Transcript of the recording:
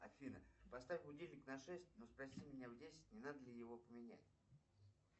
афина поставь будильник на шесть но спроси меня в десять не надо ли его поменять